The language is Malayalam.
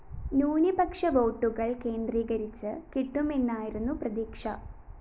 ന്യൂനപക്ഷ വോട്ടുകള്‍ കേന്ദ്രികരിച്ച് കിട്ടുമെന്നയിരുന്നു പ്രതീക്ഷ